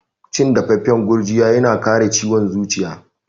Cin dafaffan gurjiya yana kare ciwon zuciya.